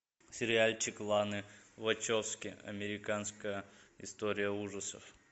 сериальчик ланы вачовски американская история ужасов